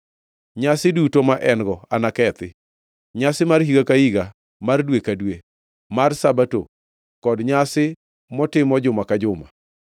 Nyasi duto ma en-go anakethi: nyasi mar higa ka higa, mar dwe ka dwe, mar Sabato kod nyasi motimo juma ka juma.